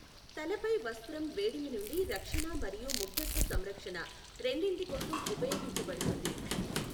తలపై వస్త్రం వేడిమి నుండి రక్షణ మరియు ముగ్ధత్వ సంరక్షణ రెండింటి కోసం ఉపయోగించబడుతుంది.